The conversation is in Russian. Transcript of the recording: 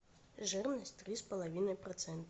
жирность три с половиной процента